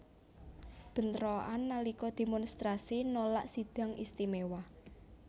Bentrokan nalika demonstrasi nolak Sidang Istimewa